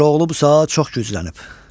Koroğlu bu saat çox güclənib.